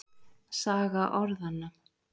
Saga orðanna.